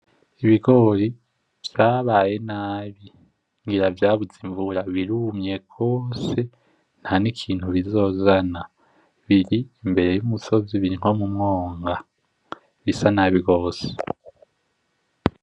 Ibigori vyabaye nabi ngira vyabuze imvura birumye gose ntanikintu kizozana, biri imbere y’umusizi biri nko mu mwonga bisa nabi gose.